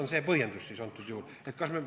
Mis see põhjendus ikkagi on?